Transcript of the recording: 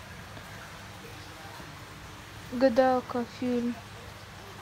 гадалка фильм